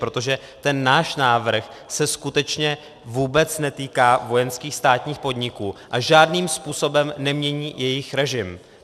Protože ten náš návrh se skutečně vůbec netýká vojenských státních podniků a žádným způsobem nemění jejich režim.